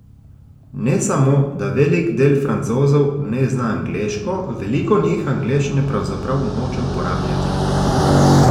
Ne samo, da velik del Francozov ne zna angleško, veliko njih angleščine pravzaprav noče uporabljati.